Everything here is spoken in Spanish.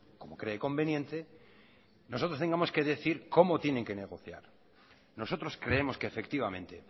como cree conveniente nosotros tengamos que decir cómo tienen que negociar nosotros creemos que efectivamente